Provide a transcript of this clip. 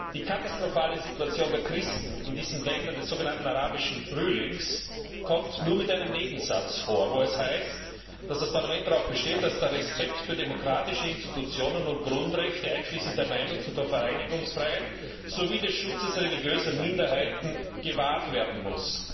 Die katastrophale Situation der Christen in diesen Ländern des sogenannten Arabischen Frühlings kommt nur in einem Nebensatz vor, in dem es heißt, dass das Parlament darauf besteht, dass der Respekt für demokratische Institutionen und Grundrechte, einschließlich der Meinungs und der Vereinigungsfreiheit sowie des Schutzes religiöser Minderheiten gewahrt werden muss.